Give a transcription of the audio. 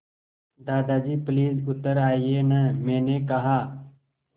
दादाजी प्लीज़ उतर आइये न मैंने कहा